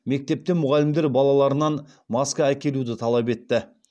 мектепте мұғалімдер балаларынан маска әкелуді талап етті